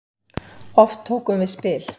Oft tókum við spil.